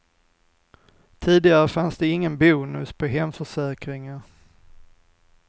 Tidigare fanns det ingen bonus på hemförsäkringar.